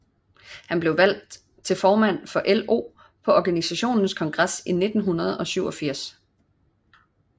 Han blev valgt til formand for LO på organisationens kongres i 1987